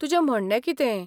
तुजें म्हणणें कितें?